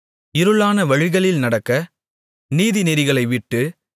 இருளான வழிகளில் நடக்க நீதிநெறிகளைவிட்டு